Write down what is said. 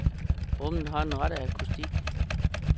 Rummet har den rette akustik.